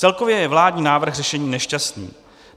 Celkově je vládní návrh řešením nešťastným.